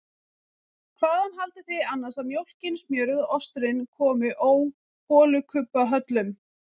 Hvaðan haldið þið annars að mjólkin, smjörið og osturinn komi ó holukubbahöllum?